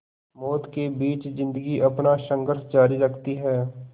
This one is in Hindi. मौत के बीच ज़िंदगी अपना संघर्ष जारी रखती है